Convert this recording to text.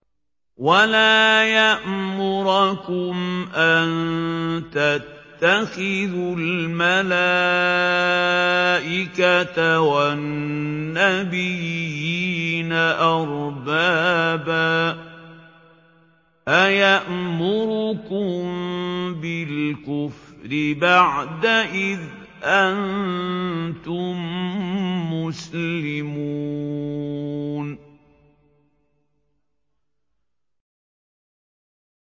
وَلَا يَأْمُرَكُمْ أَن تَتَّخِذُوا الْمَلَائِكَةَ وَالنَّبِيِّينَ أَرْبَابًا ۗ أَيَأْمُرُكُم بِالْكُفْرِ بَعْدَ إِذْ أَنتُم مُّسْلِمُونَ